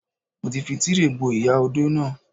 Mo ti fi Tíréè bo ìyá odó náà.